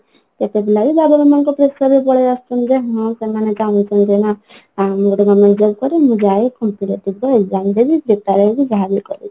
କେତେପିଲା ବି ବାବା ମାଆଙ୍କ pressure ରେ ପଳେଇଆସୁଛନ୍ତି ଯେ ହଁ ସେମାନେ କାମ ସବୁ ଜଣା ଆଉ ମୁଁ ଗୋଟେ government job କରେ ମୁଁ ଯାଏ competitive କୁ exam ଦେବି prepare ହେବି ଯାହାବି କରିବି